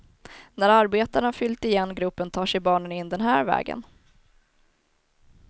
När arbetarna fyllt igen gropen tar sig barnen in den här vägen.